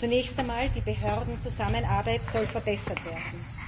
Zunächst einmal soll die Behördenzusammenarbeit verbessert werden.